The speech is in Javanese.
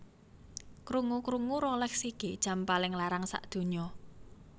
Krungu krungu Rolex iki jam paling larang sakdunya